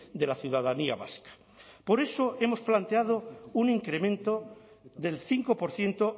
de la ciudadanía vasca por eso hemos planteado un incremento del cinco por ciento